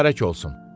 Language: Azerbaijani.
Mübarək olsun.